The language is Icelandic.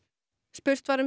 spurt var um